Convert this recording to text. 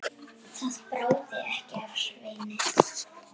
Það bráði ekki af Sveini.